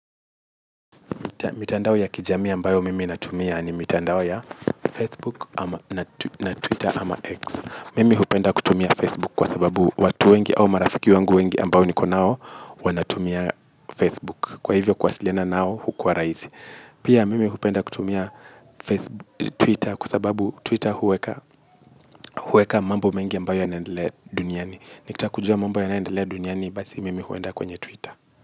Mitandao ya kijamii ambayo mimi natumia ni mitandao ya Facebook na Twitter ama X. Mimi hupenda kutumia Facebook kwa sababu watu wengi au marafiki wengi ambayo niko nao wanatumia Facebook. Kwa hivyo kuwasiliana nao hukuwa rahisi. Pia mimi hupenda kutumia Twitter kwa sababu Twitter huweka mambo mengi ambayo yanaendelea duniani. Nikitaka kujua mambo ya naendelea duniani basi mimi huenda kwenye Twitter.